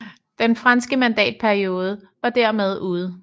Den franske mandatperiode var dermed ude